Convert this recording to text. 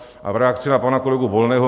A v reakci na pana kolegu Volného.